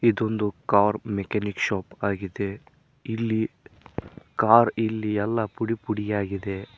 ಇದೊಂದು car mechanic shop ಆಗಿದೆ ಇಲ್ಲಿ ಕಾರ್ ಇಲ್ಲಿ ಎಲ್ಲ ಪುಡಿಪುಡಿಯಾಗಿದೆ.